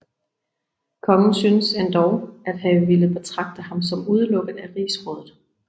Kongen synes endog at have villet betragte ham som udelukket af rigsrådet